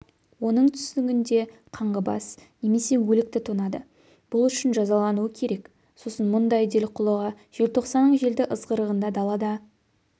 оның түсінігінде қаңғыбас неме өлікті тонады бұл үшін жазалануы керек сосын мұндай делқұлыға желтқсанның желді ызғырығында далада